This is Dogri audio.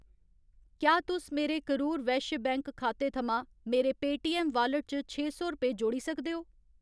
क्या तुस मेरे करूर वैश्य बैंक खाते थमां मेरे पेऽटीऐम्म वालेट च छे सौ रपेऽ जोड़ी सकदे ओ ?